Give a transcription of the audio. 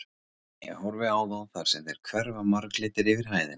Ég horfi á þá þar sem þeir hverfa marglitir yfir hæðina.